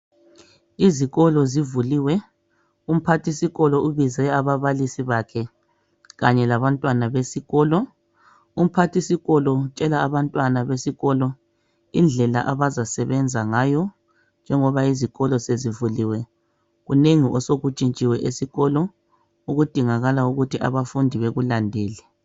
Izikolo zivuliwe. Umphathisikolo ubize ababalisi bakhe. Kanye labantwana besikolo. Umphathisikolo utshela abantwana besikolo indlela abazasebenza ngayo. Kunengi osekutshitshile esikolo. Okudinga ukuthi abafundi bakulandele.